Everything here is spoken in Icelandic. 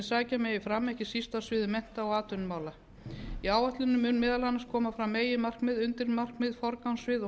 sækja megi fram ekki síst á sviði mennta og atvinnumála í áætluninni munu meðal annars koma fram meginmarkmið undirmarkmið forgangssvið og